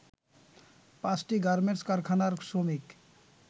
পাঁচটি গার্মেন্টস কারখানার শ্রমিক